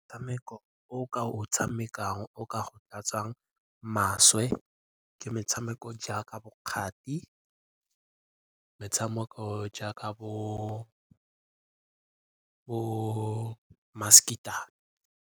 Motshameko o ka o tshamekang o ka go tlatsang maswe ke metshameko jaaka bo kgathi, metshameko jaaka bo masekitlane.